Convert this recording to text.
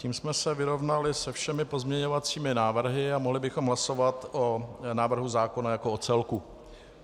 Tím jsme se vyrovnali se všemi pozměňovacími návrhy a mohli bychom hlasovat o návrhu zákona jako o celku.